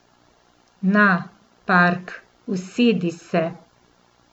Na, Park, usedi se.